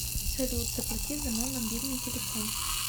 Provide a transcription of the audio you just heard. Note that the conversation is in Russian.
салют заплати за мой мобильный телефон